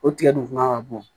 O tigɛ dun fanga ka bon